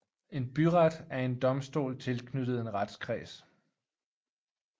En byret er en domstol tilknyttet en retskreds